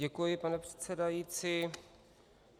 Děkuji, pane předsedající.